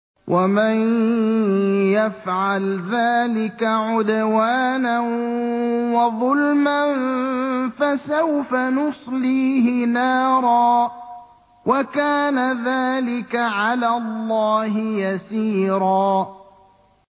وَمَن يَفْعَلْ ذَٰلِكَ عُدْوَانًا وَظُلْمًا فَسَوْفَ نُصْلِيهِ نَارًا ۚ وَكَانَ ذَٰلِكَ عَلَى اللَّهِ يَسِيرًا